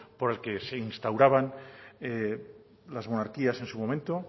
por el que se instauraban las monarquías en su momento